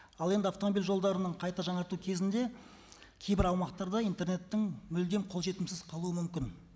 ал енді автомобиль жолдарының қайта жаңарту кезінде кейбір аумақтарда интернеттің мүлдем қолжетімсіз қалуы мүмкін